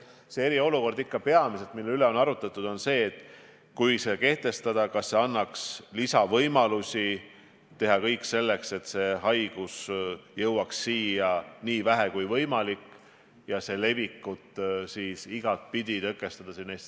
Eriolukord, mille üle on arutatud, annaks kehtestamise korral lisavõimalusi teha kõik selleks, et see haigus jõuaks siia nii vähe kui võimalik ja et selle levikut siin Eestis igatpidi tõkestada.